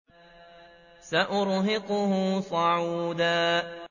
سَأُرْهِقُهُ صَعُودًا